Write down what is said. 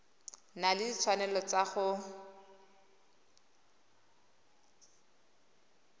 na le ditshwanelo tsa go